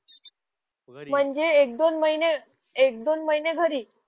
म्हणजे एक दोन महिने एक दोन महिने घरी